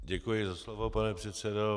Děkuji za slovo, pane předsedo.